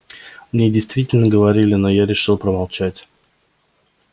мне действительно говорили но я решил промолчать